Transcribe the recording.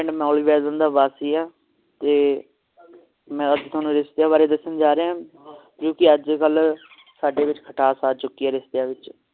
ਮੈਂ ਮੌਲੀ ਦਾ ਵਾਸੀ ਆ ਤੇ ਮੈਂ ਅੱਜ ਤੁਹਾਨੂੰ ਰਿਸ਼ਤੀਆਂ ਵਾਰੇ ਦਸਣ ਜਾ ਰਿਹਾ ਕਿਉਕਿ ਅਜਕਲ ਸਾਡੇ ਵਿਚ ਖਟਾਸ ਆ ਚੁਕੀ ਹੈ ਰਿਸ਼ੇਤੀਆਂ ਵਿਚ